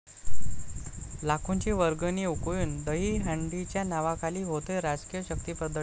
लाखोंची वर्गणी उकळून दहीहंडीच्या नावाखाली होतय राजकीय शक्तीप्रदर्शन?